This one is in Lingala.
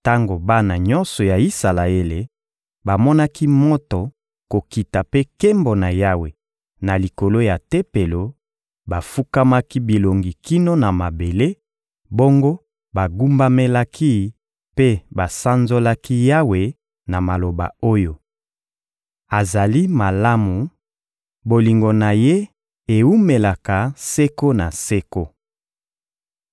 Tango bana nyonso ya Isalaele bamonaki moto kokita mpe nkembo na Yawe na likolo ya Tempelo, bafukamaki bilongi kino na mabele; bongo bagumbamelaki mpe basanzolaki Yawe na maloba oyo: «Azali malamu, bolingo na Ye ewumelaka seko na seko!»